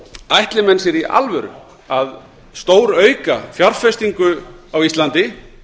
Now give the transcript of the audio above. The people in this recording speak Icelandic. ætli menn sér í alvöru að stórauka fjárfestingu á íslandi